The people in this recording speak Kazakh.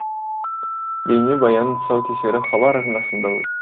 бейнебаянның тұсаукесері хабар арнасында